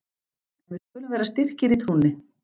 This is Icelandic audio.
En við skulum vera styrkir í trúnni!